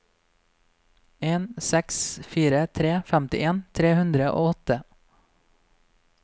en seks fire tre femtien tre hundre og åtte